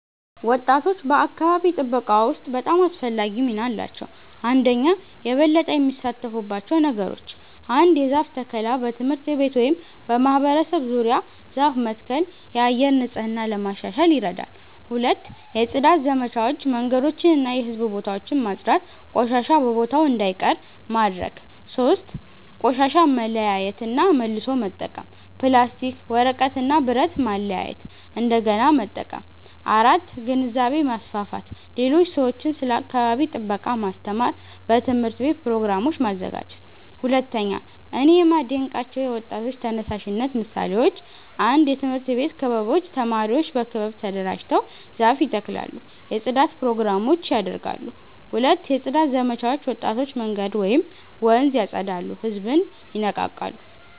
ወጣቶች በአካባቢ ጥበቃ ውስጥ በጣም አስፈላጊ ሚና አላቸው። 1)የበለጠ የሚሳተፉባቸው ነገሮች ? 1. የዛፍ ተከላ በትምህርት ቤት ወይም በማህበረሰብ ዙሪያ ዛፍ መትከል የአየር ንጽህና ለማሻሻል ይረዳል 2. የጽዳት ዘመቻዎች መንገዶችን እና የህዝብ ቦታዎችን ማጽዳት ቆሻሻ በቦታው እንዳይቀር ማድረግ ማድረግ 3. ቆሻሻ መለያየት እና መልሶ መጠቀም ፕላስቲክ፣ ወረቀት እና ብረት ማለያየት እንደገና መጠቀም 4. ግንዛቤ ማስፋፋት ሌሎች ሰዎችን ስለ አካባቢ ጥበቃ ማስተማር በትምህርት ቤት ፕሮግራሞች ማዘጋጀት 2)እኔ የማዴንቃቸው የወጣቶች ተነሳሽነት ምሳሌዎች 1 የትምህርት ቤት ክበቦች ተማሪዎች በክበብ ተደራጅተው ዛፍ ይተክላሉ የጽዳት ፕሮግራሞች ያደርጋሉ 2 የጽዳት ዘመቻዎች ወጣቶች መንገድ ወይም ወንዝ ያፀዳሉ ህዝብን ይነቃቃሉ